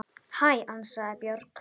Hæ, ansaði Björg.